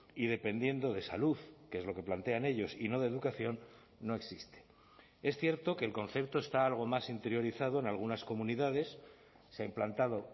y dependiendo de salud que es lo que plantean ellos y no de educación no existe es cierto que el concepto está algo más interiorizado en algunas comunidades se ha implantado